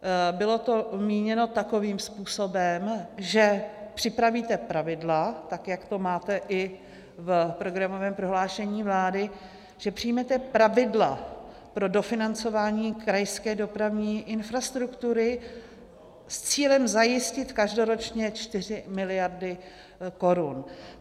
Bylo to míněno takovým způsobem, že připravíte pravidla, tak jak to máte i v programovém prohlášení vlády, že přijmete pravidla pro dofinancování krajské dopravní infrastruktury s cílem zajistit každoročně 4 miliardy korun.